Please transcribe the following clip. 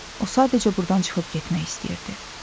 O sadəcə burdan çıxıb getmək istəyirdi.